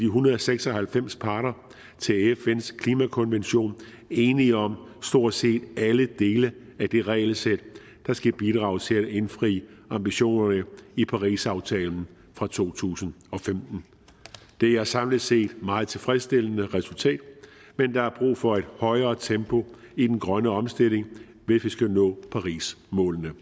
hundrede og seks og halvfems parter til fns klimakonvention enige om stort set alle dele af det regelsæt der skal bidrage til at indfri ambitionerne i parisaftalen fra to tusind og femten det er samlet set et meget tilfredsstillende resultat men der er brug for et højere tempo i den grønne omstilling hvis vi skal nå målene